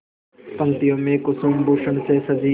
पंक्तियों में कुसुमभूषण से सजी